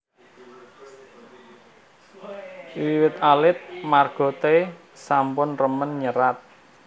Wiwit alit Marga T sampun remen nyerat